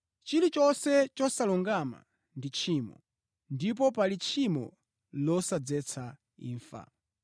Chilichonse chosalungama ndi tchimo ndipo pali tchimo losadzetsa imfa.